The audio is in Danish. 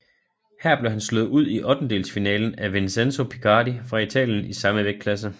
Her blev han slået ud i ottendedelsfinalen af Vincenzo Picardi fra Italien i samme vægtklasse